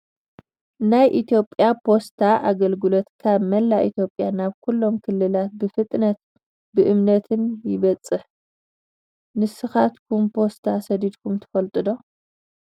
ናይ ኢትዮጵያ ፖስታ ኣገልግሎት ካብ መላእ ኢትዮጵያ ናብ ኩሎም ክልላት ብፍጥነት ብእምነትን የብፅሕ ። ንስካትኩም ብፖት ሰዲድኩም ትፈልጡ ዶ ?